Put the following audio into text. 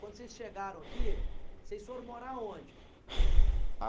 Quando vocês chegaram aqui, vocês foram morar onde?